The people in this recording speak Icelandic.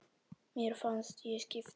Mér fannst ég skipta máli.